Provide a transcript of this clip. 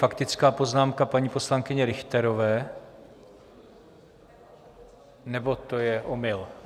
Faktická poznámka paní poslankyně Richterové, nebo to je omyl?